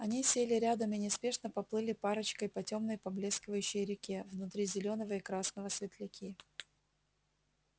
они сели рядом и неспешно поплыли парочкой по тёмной поблескивающей реке внутри зелёного и красного светляки